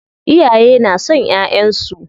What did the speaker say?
Iyaye na son ƴaƴansu.